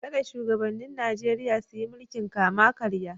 Kada shugabannin Nijeriya su yi mulkin kama-karya.